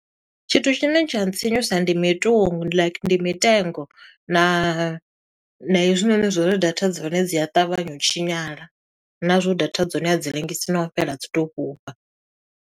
Tshithu tshine tsha ntsinyusa ndi mitungu like ndi mitengo, na na hezwinoni zwa uri data dza hone dzi a ṱavhanya u tshinyala, na zwo data dza hone a dzi lengisi no u fhela dzi tou fhufha.